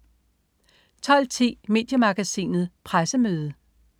12.10 Mediemagasinet Pressemøde